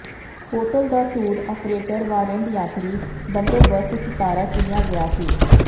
hotel ਦਾ tour operator warrant ਯਾਤਰੀ ਬੰਦੋਬਸਤ ਸਿਤਾਰਾ ਚੁਣਿਆ ਗਿਆ ਸੀ